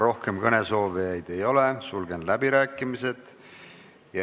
Rohkem kõnesoovijaid ei ole, sulgen läbirääkimised.